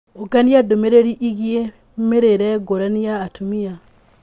ũngania ndũmĩrĩri ĩgiĩ mĩrĩĩre ngũrani ya atumia